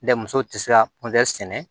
Dɛ muso tɛ se ka sɛnɛ